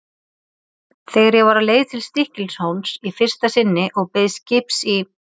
Þegar ég var á leið til Stykkishólms í fyrsta sinni og beið skips í